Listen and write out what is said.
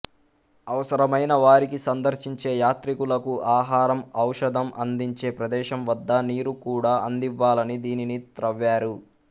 అవసరమైన వారికి సందర్శించే యాత్రికులకు ఆహారం ఔషధం అందించే ప్రదేశం వద్ద నీరు కూడా అందివ్వాలని దీనిని త్రవ్వారు